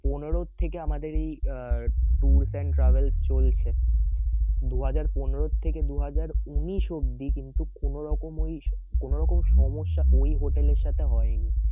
পনেরো থেকে আমাদের এই আহ tours and travels চলছে দু হাজার পনেরো থেকে দু হাজার উনিশ অব্দি কিন্তু কোনোরকম ওই কোনোরকম সমস্যা ওই হোটেল এর সাথে হয় নি